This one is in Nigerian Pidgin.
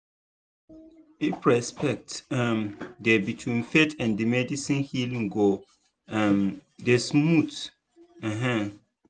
if respect um dey between faith and medicine healing go um dey smooth. um